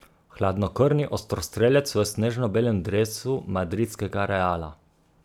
Hladnokrvni ostrostrelec v snežno belem dresu madridskega Reala.